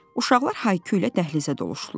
Uşaqlar hay-küylə dəhlizə doluşdular.